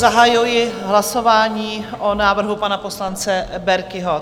Zahajuji hlasování o návrhu pana poslance Berkiho.